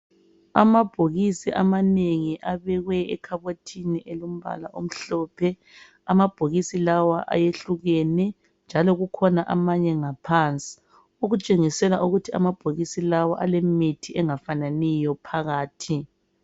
Amabhokisi amanengi abekwe ekhabothini elombala omhlophe , amabhokisi lawa ayehlukene njalo kukhona amanye ngaphansi , okutshengisela ukuthi amabhokisi lawa alemithi engafananiyo phakathi